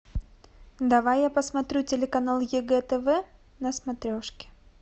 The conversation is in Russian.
давай я посмотрю телеканал егэ тв на смотрешке